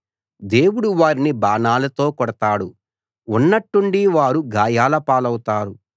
దేవుడు వారిని బాణాలతో కొడతాడు ఉన్నట్టుండి వారు గాయాల పాలవుతారు